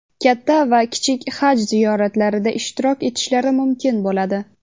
katta va kichik Haj ziyoratlarida ishtirok etishlari mumkin bo‘ladi.